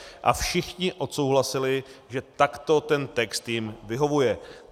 A všichni odsouhlasili, že takto ten text jim vyhovuje.